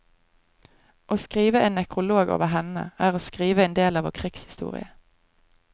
Å skrive en nekrolog over henne, er å skrive en del av vår krigshistorie.